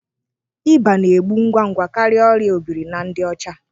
Ịba na-egbu ngwa ngwa karịa ọrià obiri na ndị ọcha